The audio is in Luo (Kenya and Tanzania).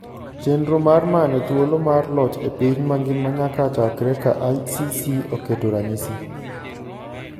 Chenro mar manyo thuolo mar loch e piny mangima nyaka chakre ka ICC oketo ranyisi